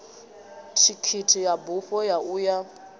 thikhithi ya bufho ya uya